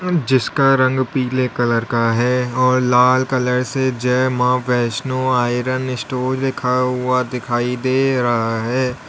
अ जिसका रंग पीले कलर का है और लाल कलर से जय मां वैष्णो आयरन स्टोर लिखा हुआ दिखाई दे रहा है।